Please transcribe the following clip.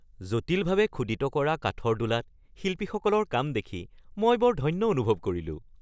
জটিলভাৱে খোদিত কৰা কাঠৰ দোলাত শিল্পীসকলৰ কাম দেখি মই বৰ ধন্য অনুভৱ কৰিলোঁ।